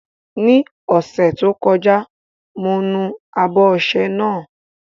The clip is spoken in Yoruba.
Ní ọ̀sẹ̀ tó kọjá, mo nu abọ́ ọṣẹ náà.